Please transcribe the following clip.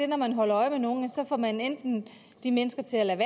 når man holder øje med nogen får man enten de mennesker til at lade